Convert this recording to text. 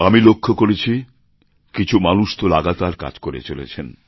আমি লক্ষ করেছি কিছু মানুষতো লাগাতার কাজ করে চলেছেন